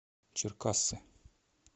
черкассы